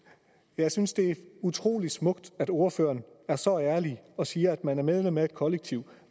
jeg synes det er utrolig smukt at ordføreren er så ærlig og siger at man er medlem af et kollektiv